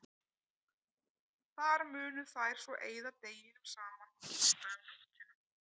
Þar munu þær svo eyða deginum saman og gista um nóttina.